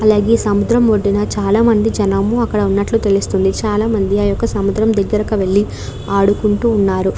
అలానే సముద్రం వడ్డున చాల మంది జనము అక్కడ ఉన్నట్లు తెలుస్తుంది. చాలా మంది ఆ యెక్క సముద్రం దక్కరుకు వెల్లి ఆడుకుంటూ ఉన్నారు.